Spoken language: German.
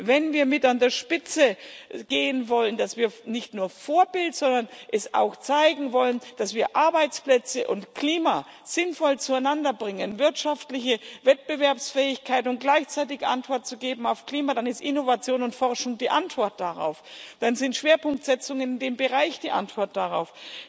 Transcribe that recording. Wenn wir mit an der Spitze gehen wollen, wenn wir nicht nur Vorbild sein, sondern auch zeigen wollen, dass wir Arbeitsplätze und Klima sinnvoll zueinander bringen, wirtschaftliche Wettbewerbsfähigkeit, und gleichzeitig Antworten geben auf Klimafragen, dann ist Innovation und Forschung die Antwort darauf, dann ist Schwerpunktsetzung in dem Bereich die Antwort darauf.